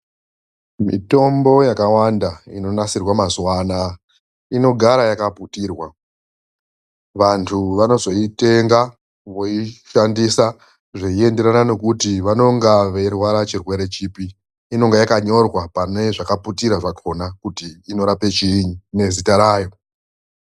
Mitombo yakawanda inonasirwa mazuwa anaa, inogara yakaputirwa. Vantu vanozoitenga voishandisa zveinderana nekuti vanonga veirwara chirwere chipi. Inonga yakanyorwa pane zvakaputira zvakhona kuti inorape chiinyi, nezita rayo.